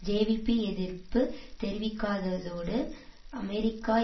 JVP எதிர்ப்பு தெரிவிக்காததோடு அமெரிக்க